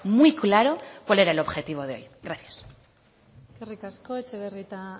muy claro cuál era el objetivo de hoy gracias eskerrik asko etxebarrieta